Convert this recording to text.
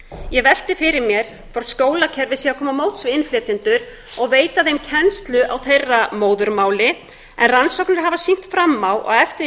ég velti fyrir mér hvort skólakerfið sé að koma til móts við innflytjendur og veita þeim kennslu á þeirra móðurmáli en rannsóknir hafa sýnt fram á að eftir því